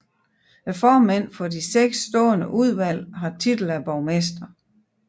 Formændene for de seks stående udvalg har titel af borgmester